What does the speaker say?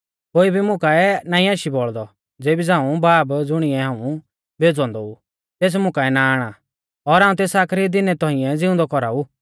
कोई मुं काऐ नाईं आशी बौल़दौ ज़ेबी झ़ांऊ बाब ज़ुणिऐ हाऊं भेज़ौ औन्दौ ऊ तेस मुकाऐ ना आणा और हाऊं तेस आखरी दिनै तौंइऐ ज़िउंदौ कौराऊ